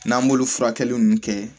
N'an b'olu furakɛli ninnu kɛ